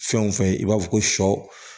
Fɛn o fɛn i b'a fɔ ko sɔ